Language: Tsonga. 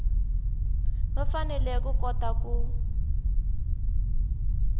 va fanele ku kota ku